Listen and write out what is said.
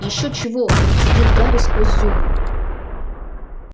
ещё чего процедил гарри сквозь зубы